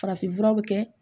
Farafinfuraw bɛ kɛ